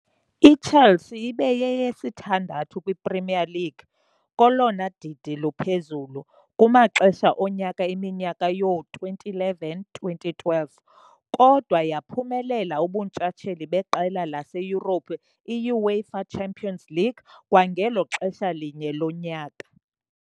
IChelsea ibe yeyesithandathu kw iPremier League, kolona didi luphezulu, kumaxesha onyaka eminyaka yoo-2011-12, kodwa yaphumelela ubuntshatsheli beqela laseYurophu, i-UEFA Champions League, kwangelo xesha linye lonyaka.